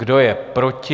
Kdo je proti?